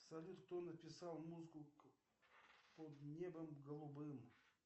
салют кто написал музыку под небом голубым